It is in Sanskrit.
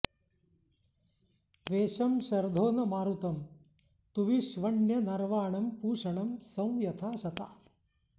त्वेषं शर्धो न मारुतं तुविष्वण्यनर्वाणं पूषणं सं यथा शता